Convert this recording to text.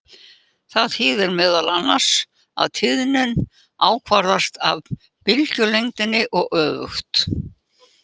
Það þýðir meðal annars að tíðnin ákvarðast af bylgjulengdinni og öfugt.